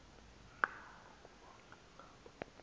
nqa ukuba ngaba